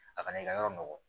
A kana i ka yɔrɔ nɔgɔ